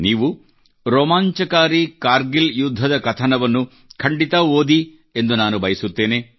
ನೀವು ರೋಮಾಂಚಕಾರಿ ಕಾರ್ಗಿಲ್ ಯುದ್ಧದ ಕಥನವನ್ನು ಖಂಡಿತ ಓದಿರಿ ಎಂದು ನಾನು ಬಯಸುತ್ತೇನೆ